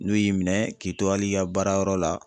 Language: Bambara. N'u y'i minɛ k'i to hali i ka baara yɔrɔ la